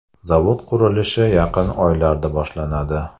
Zavod qurilishi yaqin oylarda boshlanadi.